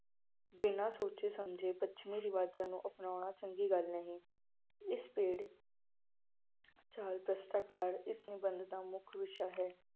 ਬਿਨਾ ਸੋਚੇ ਸਮਝੇ ਪੱਛਮੀ ਰਿਵਾਜ਼ਾਂ ਨੂੰ ਅਪਣਾਉਣਾ ਚੰਗੀ ਗੱਲ ਨਹੀਂ। ਇਸ ਭੇਡ ਜ਼ਾਹਿਲ ਦਸਤਾਕਾਰ ਇਸ ਨਿਬੰਧ ਦਾ ਮੁੱਖ ਵਿਸ਼ਾ ਹੈ।